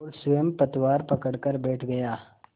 और स्वयं पतवार पकड़कर बैठ गया